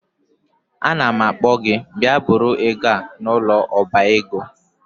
Anam akpo gi bia buru ego a n'ulo oba ego